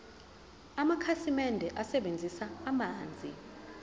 amakhasimende asebenzisa amanzi